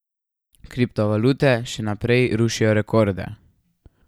Kriptovalute še naprej rušijo rekorde.